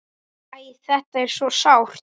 Æ, þetta er svo sárt.